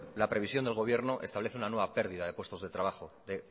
la previsión del gobierno establece una nueva pérdida de puestos de trabajo de